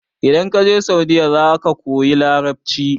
idan ka je saudiya za ka koyi larabci